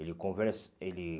Ele conver ele